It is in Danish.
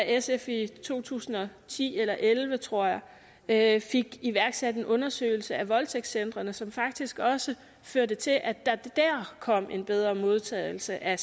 sf i to tusind og ti eller og elleve tror jeg fik iværksat en undersøgelse af voldtægtscentrene som faktisk også førte til at der dér kom en bedre modtagelse af